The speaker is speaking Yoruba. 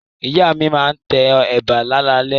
Ìyá mi máa tẹ ẹ̀bà láalalẹ́.